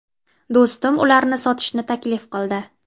Do‘stim ularni sotishni taklif qildi.